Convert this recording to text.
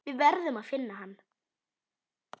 Við verðum að finna hann.